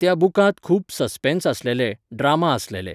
त्या बुकांत खूब ससपॅन्स आसलेलें, ड्रामा आसलेलें .